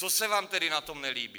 Co se vám tedy na tom nelíbí?